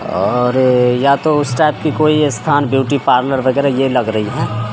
और या तो उस टाइप की कोई स्थान ब्यूटी पार्लर वैगरह यह लग रही है।